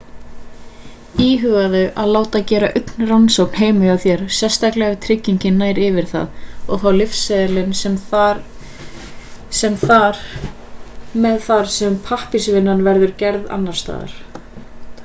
íhugaðu að láta gera augnrannsókn heima hjá þér sérstaklega ef tryggingin nær yfir það og fá lyfseðilinn með þar sem pappírsvinnan verður gerð annars staðar